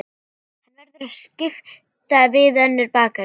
Hann verður að skipta við önnur bakarí.